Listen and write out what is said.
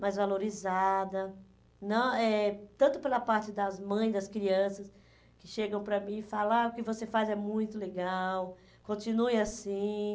mais valorizada, não eh tanto pela parte das mães, das crianças, que chegam para mim e falam ah que o que você faz é muito legal, continue assim.